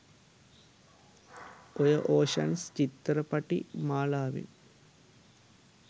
ඔය ඕෂන්ස් චිත්තරපටි මාලාවෙන්